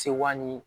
Sewa ni